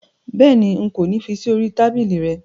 Béèni, n̄ kò ní fí sí orí i tábìlì rẹ